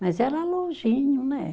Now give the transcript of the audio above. Mas era longinho, né?